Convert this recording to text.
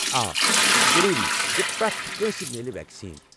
آ، یہ چھ ضروٗری ز پرٮ۪تھ کٲنٛسہ میلہِ ویکسیٖن ۔